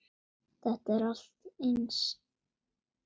Þetta er allt eins!